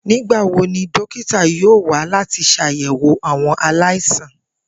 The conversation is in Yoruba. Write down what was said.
Nigbawo ni dókítà yoo wa lati ṣayẹwo awọn alaisan?